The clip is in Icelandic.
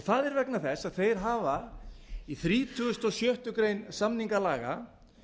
það er vegna þess að þeir hafa í þrítugasta og sjöttu grein samningalaga